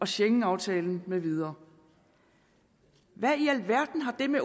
schengenaftalen med videre hvad i alverden har det med